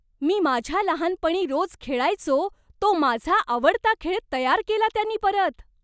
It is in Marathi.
मी माझ्या लहानपणी रोज खेळायचो तो माझा आवडता खेळ तयार केला त्यांनी परत!